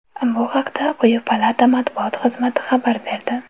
Bu haqda quyi palata matbuot xizmati xabar berdi .